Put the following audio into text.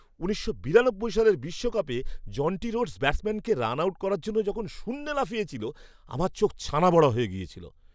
উনিশশো বিরানব্বই সালের বিশ্বকাপে জন্টি রোডস ব্যাটসম্যানকে রান আউট করার জন্য যখন শূন্যে লাফিয়েছিল, আমার চোখ ছানাবড়া হয়ে গিয়েছিল।